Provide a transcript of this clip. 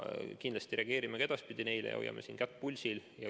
Kindlasti me reageerime ka edaspidi niisugustele juhtumitele ja hoiame kätt pulsil.